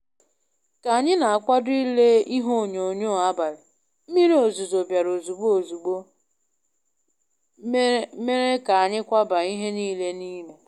ka anyỊ na akwado ile ihe onyonyoo abalỊ, mmiri ozizo biara ozigbo ozigbo mere ka anyỊ kwabaa ihe nile n'ime.